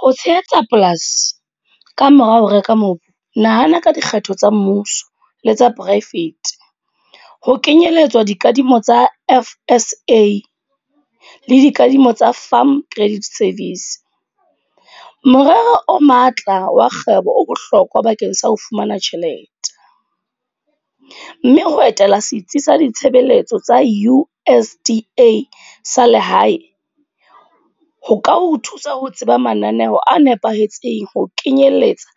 Ho tshehetsa polasi, kamora ho reka mobu. Nahana ka dikgetho tsa mmuso, le tsa private. Ho kenyelletswa dikadimo tsa F_S_A le dikadimo tsa Farm Credit Service. Morero o matla wa kgwebo o bohlokwa bakeng sa ho fumana tjhelete. Mme ho etela setsi sa ditshebeletso tsa U_D_A sa lehae. Ho ka o thusa ho tseba mananeho a nepahetseng ho kenyelletsa